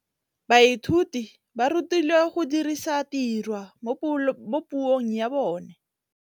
Baithuti ba rutilwe go dirisa tirwa mo puong ya bone.